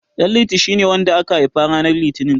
Ɗanliti shine wanda aka haifa ranar Litinin.